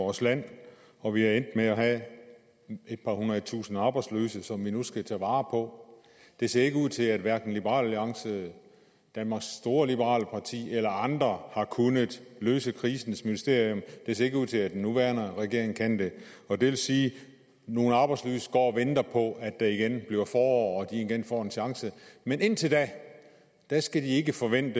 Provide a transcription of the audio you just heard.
vores land og vi er endt med at have et par hundredetusinde arbejdsløse som vi nu skal tage vare på det ser ikke ud til at hverken liberal alliance danmarks store liberale parti eller andre har kunnet løse krisens mysterium det ser ikke ud til at den nuværende regering kan det og det vil sige at nogle arbejdsløse går og venter på at det igen bliver forår og at de igen får en chance men indtil da skal de ikke forvente